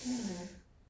Åh ja